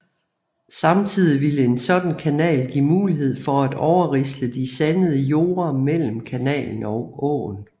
Samtidig ville en sådan kanal give mulighed for at overrisle de sandede jorde mellem kanalen og åen